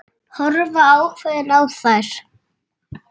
Horfa ákveðin á þær.